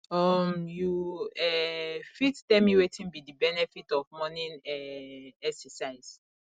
um you um fit tell me wetin be di benefit of morning um exercise